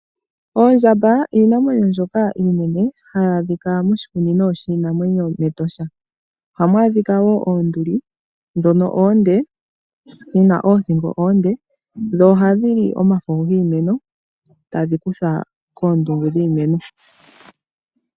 Oondjamba iinamwenyo mbyoka iinene hayi adhika moshikunino shiinamwenyo mEtosha. Ohamu adhika wo oonduli dhono oonde, dhina oothingo oonde, dho ohadhi li omafo giimeno tadhi kutha koondungu dhiimeno.